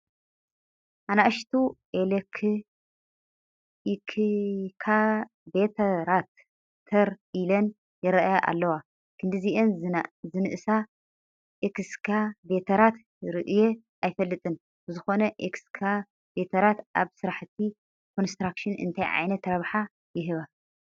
ኣናእሽቱ ኤክካቬተራት ተር ኢለን ይርአያ ኣለዋ፡፡ ክንድዚኣን ዝንእሳ ኤክስካቬተራት ርእየ ኣይፈልጥን፡፡ ብዝኾ ኤክስካቬተራት ኣብ ስራሕቲ ኮንስትራክሽን እንታይ ዓይነት ረብሓ ይህባ?